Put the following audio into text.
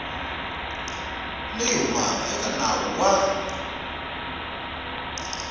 leyi humaka eka nawu wa